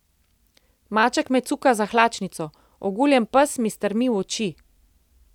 Maček me cuka za hlačnico, oguljen pes mi strmi v oči.